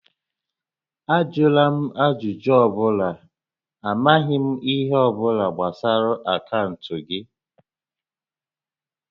Ajụla m ajụjụ ọ bụla, a maghị m ihe ọ bụla gbasara akaụntụ gị!